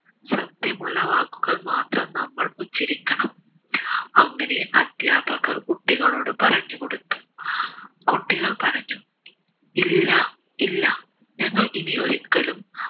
സത്യമുള്ള വാക്കുകൾ മാത്രം നമ്മൾ ഉച്ചരിക്കണം അങ്ങനെ അദ്ധ്യാപകർ കുട്ടികളോട് പറഞ്ഞ് കൊടുത്തു കുട്ടികൾ പറഞ്ഞു ഇല്ലാ ഇല്ല ഞങ്ങൾ ഇനി ഒരിക്കലും